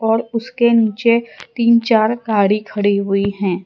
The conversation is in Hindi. और उसके नीचे तीन चार गाड़ी खड़ी हुई है।